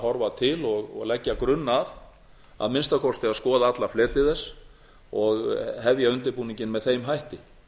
horfa til og leggja grunn að að minnsta kosti að skoða alla fleti þess og hefja undirbúninginn með þeim hætti